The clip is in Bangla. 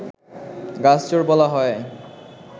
গাছ চোর বলা হয়